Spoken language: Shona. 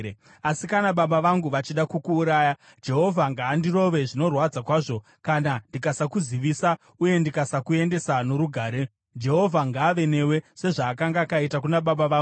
Asi kana baba vangu vachida kukuuraya, Jehovha ngaandirove, zvinorwadza kwazvo, kana ndikasakuzivisa uye ndikasakuendesa norugare. Jehovha ngaave newe sezvaakanga akaita kuna baba vangu.